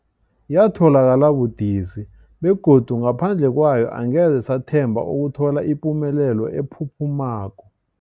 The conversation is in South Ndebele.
Yatholakala budisi, begodu ngaphandle kwayo angeze sathemba ukuthola ipumelelo ephuphumako.